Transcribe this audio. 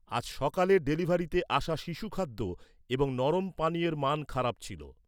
আজ সকালে ডেলিভারিতে আসা শিশু খাদ্য এবং নরম পানীয়ের মান খারাপ ছিল।